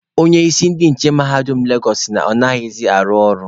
Onye isi ndị nche mahadum Legosụ sị na ya anaghịzị arụ ọrụ.